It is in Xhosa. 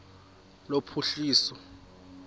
lophuhliso